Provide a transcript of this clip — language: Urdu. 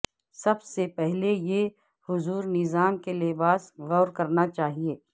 سب سے پہلے یہ حضور نظام کے لباس غور کرنا چاہیے